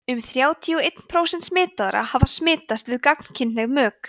um þrjátíu og einn prósent smitaðra hafa smitast við gagnkynhneigð mök